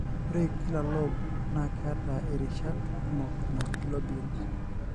ore kila lobe na keeta irishat kumok naji lobules.